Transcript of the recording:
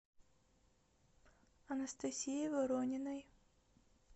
анастасией ворониной